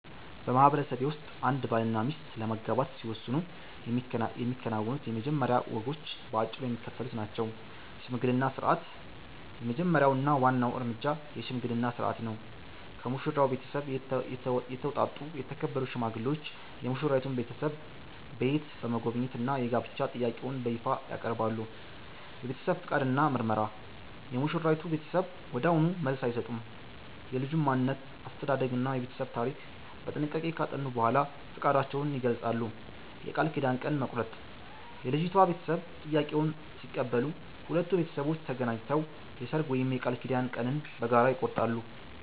በማህበረሰቤ ውስጥ አንድ ባልና ሚስት ለመጋባት ሲወስኑ የሚከናወኑት የመጀመሪያ ወጎች በአጭሩ የሚከተሉት ናቸው፦ የሽምግልና ሥርዓት፦ የመጀመሪያው እና ዋናው እርምጃ የሽምግልና ሥርዓት ነው። ከሙሽራው ቤተሰብ የተውጣጡ የተከበሩ ሽማግሌዎች የሙሽራይቱን ቤተሰብ ቤት በመጎብኘት የጋብቻ ጥያቄውን በይፋ ያቀርባሉ። የቤተሰብ ፈቃድ እና ምርመራ፦ የሙሽራይቱ ቤተሰብ ወዲያውኑ መልስ አይሰጡም። የልጁን ማንነት፣ አስተዳደግ እና የቤተሰቡን ታሪክ በጥንቃቄ ካጠኑ በኋላ ፈቃዳቸውን ይገልጻሉ። የቃል ኪዳን ቀን መቁረጥ፦ የልጅቷ ቤተሰብ ጥያቄውን ሲቀበሉ፣ ሁለቱ ቤተሰቦች ተገናኝተው የሰርግ ወይም የቃል ኪዳን ቀንን በጋራ ይቆርጣሉ።